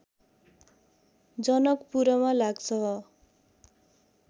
जनकपुरमा लाग्छ